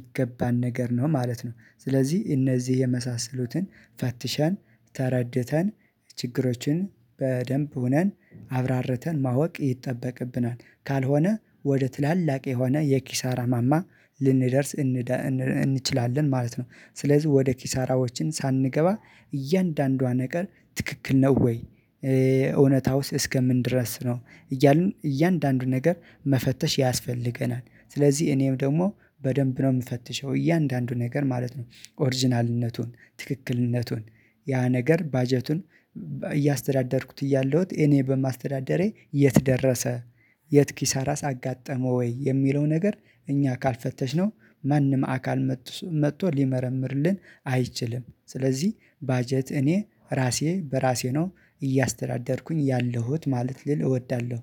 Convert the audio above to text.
ይገባን ነገር ነው ማለት ነው። ስለዚህ እነዚህ የመሳሰሉትን ፈትሸን ተረድተን ችግሮችን በደንብ ሆነን አብራርተን ማወቅ ይጠበቅብናል ካልሆነ ወደ ትላላቅ የሆነ የኪሳራ ማማ ልንደርስ እንችላለን ማለት ነው። ስለዚህ ወደ ኪሳራዎችን ሳንገባ እያንዳንዷ ነገር ትክክል ነው ወይ? እውነታውስ እስከምን ድረስ ነው እያልን እያንዳንዱ ነገር መፈተሽ ያስፈልገናል። ስለዚህ እኔም ደግሞ በደንብ ነው የምፈትሸው እያንዳንዱ ነገር ማለት ነው። ኦሪጅናልነቱን ትክክልነቱን ያ ነገር ባጀቱን እያስተዳደርኩት እያለሁት እኔ በማስተዳደሬ የት ደረሰ? የት ኪሳራስ አጋጠመው ወይ የሚለው ነገር እኛ ካልፈተሽ ነው ማንም አካል መጥቶ መጥቶ ሊመረምርልን አይችልም። ስለዚህ ባጀት እኔ ራሴ በራሴ ነው እያስተዳደርኩኝ ያለሁት ማለት ልል እወዳለሁ